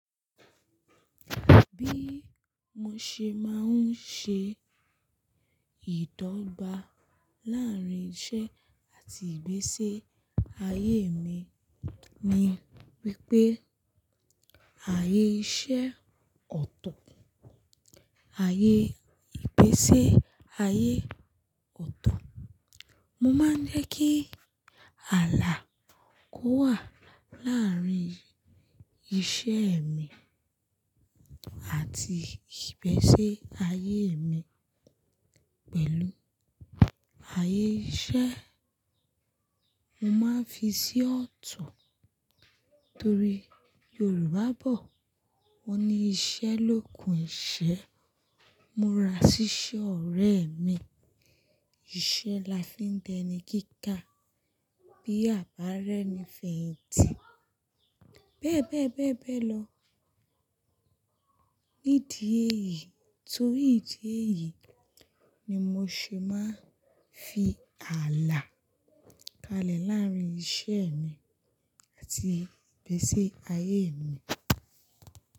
Bí mo ṣe máa ń ṣe ìdọ́gba láàrín iṣẹ́ àti ìgbésẹ́ ayé mi ni wípé ayé iṣẹ́ ọ̀tọ̀, ayé ìgbésẹ́ ayé ọ̀tọ̀. Mo máa ń jẹ́ kí ààlà kó wà láàrín iṣẹ́ mi àti ìgbésẹ́ ayé mi. Pẹ̀lú ayé iṣẹ́, mo máa ń fi sí ọ̀tọ̀ torí Yorùbá bọ̀ wọ́n ní “Iṣẹ́ l'ògun ìṣẹ́, mo ra ṣíṣe ọ̀rẹ́ mi, iṣẹ́ la fi ń di eni gígà, bí àbá ri ẹ́ni fèyìntì,” bee bẹ́ẹ̀ bẹ́ẹ̀ bẹ́ẹ̀ lọ. Nídìí èyí, torí ìdí èyí ni mo ṣe máa ń fi ààlà kalẹ̀ láàrín iṣẹ́ mi àti ìgbésẹ́ ayé mi.